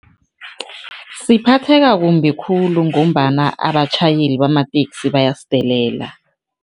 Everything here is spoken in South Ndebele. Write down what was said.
Siphatheka kumbi khulu ngombana abatjhayeli bamateksi bayasidelela.